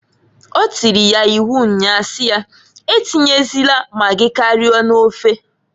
O tiri ya iwu nnya si ya, a tinyezịna magi karịa n'ofeǃ